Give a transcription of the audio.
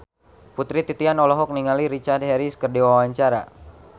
Putri Titian olohok ningali Richard Harris keur diwawancara